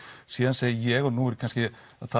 síðan segi ég og nú er kannski